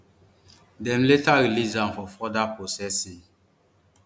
dem later release am for further processing